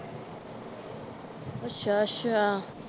ਅੱਛਾ ਅੱਛਾ।